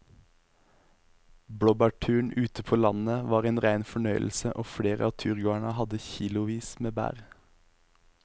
Blåbærturen ute på landet var en rein fornøyelse og flere av turgåerene hadde kilosvis med bær.